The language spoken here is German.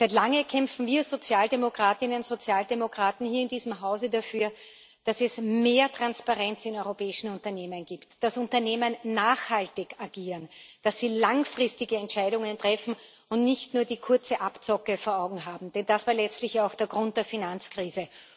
Seit langem kämpfen wir Sozialdemokratinnen und Sozialdemokraten hier in diesem Hause dafür, dass es mehr Transparenz in europäischen Unternehmen gibt, dass Unternehmen nachhaltig agieren, dass sie langfristige Entscheidungen treffen und nicht nur die kurze Abzocke vor Augen haben denn das war letztlich auch der Grund der Finanzkrise.